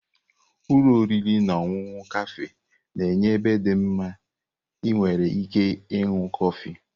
Ụlọ oriri na ọṅụṅụ kafé na-enye ebe dị mma ị nwere ike ịṅụ kọfị.